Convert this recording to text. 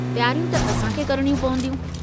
तियारियूं त असांखे करिणयूं पवंदियूं।